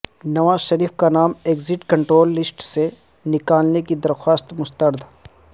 نواز شریف کا نام exit control list سے نکالنے کی درخواست مسترد